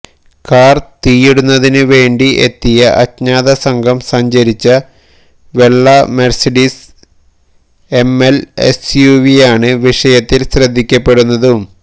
കാര് തീയിടുന്നതിന് വേണ്ടി എത്തിയ അജ്ഞാത സംഘം സഞ്ചരിച്ച വെള്ള മെര്സിഡീസ് എംഎല് എസ്യുവിയാണ് വിഷയത്തില് ശ്രദ്ധിക്കപ്പെടുന്നതും